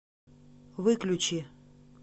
выключи